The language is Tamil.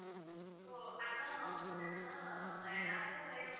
so ஆனா அவங்க வந்து என்னன்னா எல்லாருக்கும் மாதிரியே